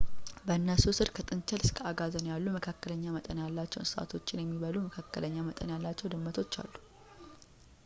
በእነሱ ሥር ከጥንቸል እስከ አጋዘን ያሉ መካከለኛ መጠን ያላቸው እንስሶችን የሚበሉ መካከለኛ መጠን ያላቸው ድመቶች አሉ